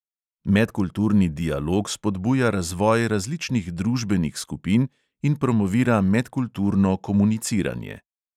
Medkulturni dialog spodbuja razvoj različnih družbenih skupin in promovira medkulturno komuniciranje.